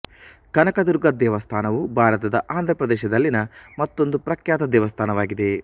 ಕನಕದುರ್ಗ ದೇವಸ್ಥಾನವು ಭಾರತದ ಆಂಧ್ರ ಪ್ರದೇಶದಲ್ಲಿನ ಮತ್ತೊಂದು ಪ್ರಖ್ಯಾತ ದೇವಸ್ಥಾನವಾಗಿದೆ